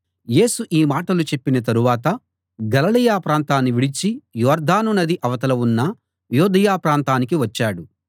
యేసు ఈ మాటలు చెప్పిన తరువాత గలిలయ ప్రాంతాన్ని విడిచి యొర్దాను నది అవతల ఉన్న యూదయ ప్రాంతానికి వచ్చాడు